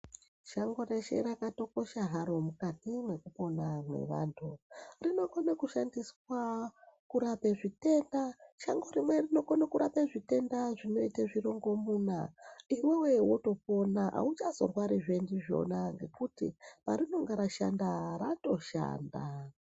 Shango reshe rakatokosha haro mukati mwekupona mwevanthu. Rinokone kushandiswa kurape zvitenda. Shango rimwe rinokone kurape zvitenda zvinoite zvirongomuna iwewe wotopona, auchazorwarizve ndizvona ngekuti parinenge ratoshanda ratoshanda.